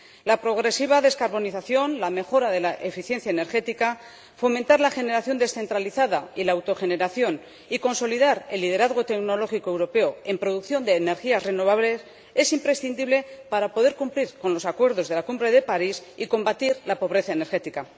La progresiva descarbonización, la mejora de la eficiencia energética, fomentar la generación descentralizada y la autogeneración y consolidar el liderazgo tecnológico europeo en producción de energías renovables es imprescindible para poder cumplir los acuerdos de la Cumbre de París y combatir la pobreza energética.